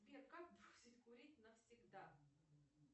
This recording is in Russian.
сбер как бросить курить навсегда